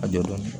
A jɔyɔrɔ ye